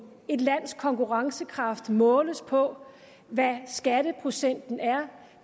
et lands konkurrencekraft måles på hvad skatteprocenten er